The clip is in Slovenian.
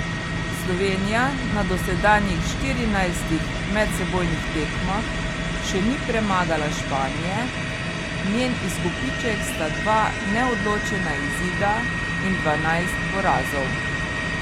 Slovenija na dosedanjih štirinajstih medsebojnih tekmah še ni premagala Španije, njen izkupiček sta dva neodločena izida in dvanajst porazov.